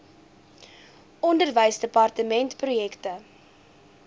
onderwysdepartementprojekte